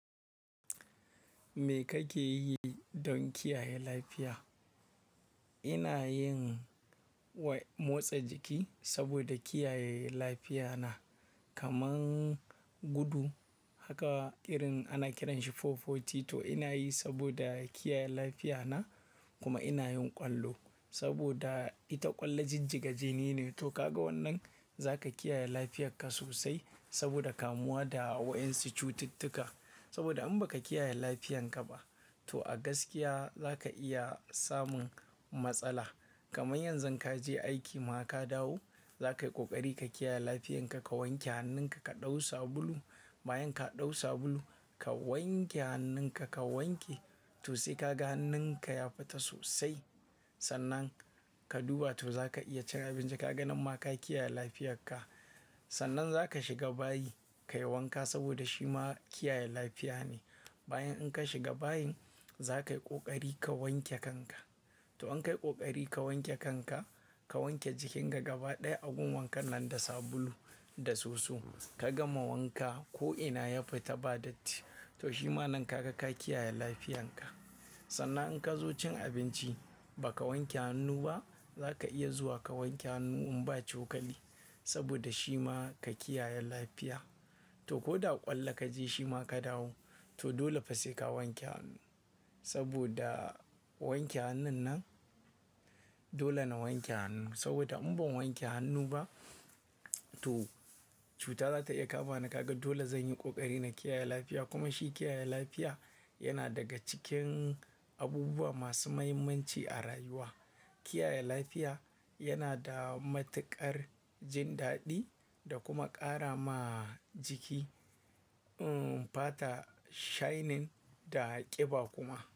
Me kake yi don kiyaye lafiya? Ina yin motsa jiki saboda kiyaye lafiya na. Kaman gudu haka ƙirin ana kiranshi 440 to ina yi saboda kiyaye lafiya na kuma ina yin ƙwallo saboda ita ƙwallo jijjiga jini ne. To ka ga wannan za ka kiyaye lafiyarka sosai saboda kamuwa da wa'yansu cututtuka. Saboda in ba ka kiyaye lafiyarka ba to a gaskiya za ka iya samun matsala. Kamar yanzu in ka je aiki ma ka dawo, za ka yi ƙoƙari ka kiyaye lafiyarka, ka wanke hannunka, ka ɗau sabulu. Bayan ka ɗau sabulu, ka wanke hannunka, ka wanke to sai ka ga hannunka ya fita sosai. Sannan ka duba to za ka iya cin abinci. Ka ga nan ma ka kiyaye lafiyarka. Sannan za ka shiga bayi ka yi wanka saboda shi ma kiyaye lafiya ne. Bayan in ka shiga bayin, za ka yi ƙoƙari ka wanke kanka. To in ka yi ƙoƙari ka wanke kanka, ka wanke jikinka gaba ɗaya a gun wankan nan da sabulu da soso, ka gama wanka ko'ina ya fita ba datti. To shi ma nan ka ga ka kiyaye lafiyarka. Sannan in ka zo cin abinci ba ka wanke hannu ba, za ka iya zuwa ka wanke hannu in ba cokali saboda shi ma ka kiyaye lafiya. To ko da ƙwallo ka je shi ma ka dawo, to dole fa sai ka wanke hannu saboda wanke hannun nan dole na wanke hannu. Saboda in ban wanke hannu ba to cuta za ta iya kama ni. Ka ga dole zan yi ƙoƙari na kiyaye lafiya kuma shi kiyaye lafiya yana daga cikin abubuwa masu muhimmanci a rayuwa. Kiyaye lafiya yana da matuƙar jin daɗi da kuma ƙara ma jiki, umm, fata shining da ƙiba kuma.